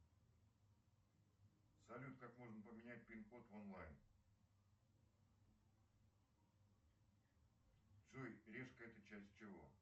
салют как можно поменять пин код в онлайн джой решка это часть чего